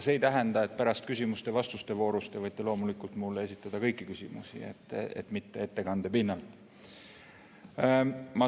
Pärast võite küsimuste ja vastuste voorus loomulikult mulle esitada kõiki küsimusi, mitte ainult ettekande pinnalt.